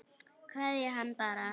Kveðja hann bara.